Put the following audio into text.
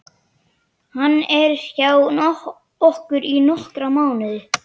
Hann er hjá okkur í nokkra mánuði.